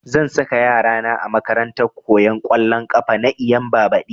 Zan saka yara na a makarantar koyan ƙwallon ƙafa na Eyimba badi